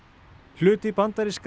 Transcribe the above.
hluti bandarískra